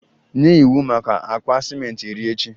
Nye iwu maka akpa ciment iri echi!